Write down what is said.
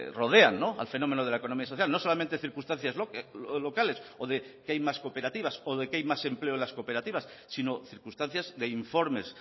rodean al fenómeno de la economía social no solamente circunstancias locales o de que hay más cooperativas o de que hay más empleo en las cooperativas sino circunstancias de informes